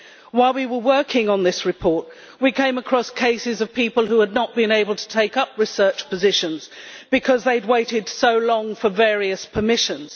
While we were working on this report, we came across cases of people who had not been able to take up research positions because they had waited so long for various permissions.